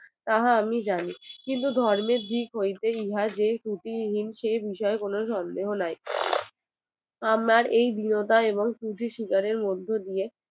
তাহা আমি জানি কিন্তু ধর্মের দিক হতে ইহা যে ত্রুটিহীন সে বিষয়ে কোনো সন্দেহ নাই আমার এই গৃহতাই এবং ত্রুটি শিকারের মধ্য দিয়ে